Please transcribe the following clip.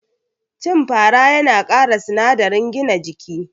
Cin fara yana kara sinadarin gina jiki